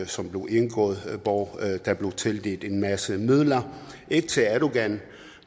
som blev indgået og der blev tildelt en masse midler ikke til erdogan